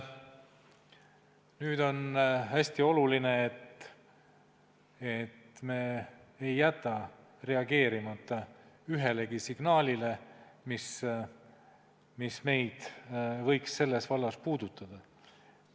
Nüüd on hästi oluline, et me ei jätaks reageerimata ühelegi signaalile, mis meid võiks selles vallas puudutada.